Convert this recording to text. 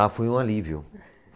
Ah, foi um alívio.